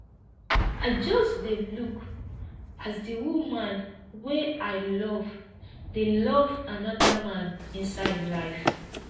i just dey look as di woman wey i love dey love anoda man inside life